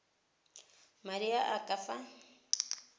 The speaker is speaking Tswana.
madi a a ka fa